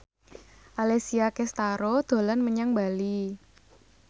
Alessia Cestaro dolan menyang Bali